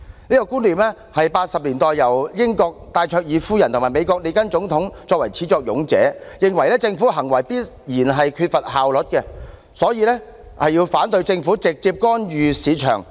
這個觀念始自1980年代，英國戴卓爾夫人和美國總統列根是始作俑者，認為政府行為必然缺乏效率，故此反對政府直接干預市場。